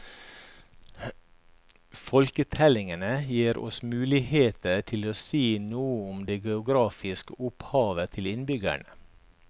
Folketellingene gir oss muligheter til å si noe om det geografiske opphavet til innbyggerne.